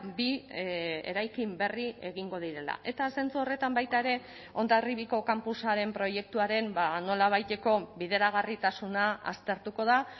bi eraikin berri egingo direla eta zentzu horretan baita ere hondarribiko kanpusaren proiektuaren nolabaiteko bideragarritasuna aztertuko da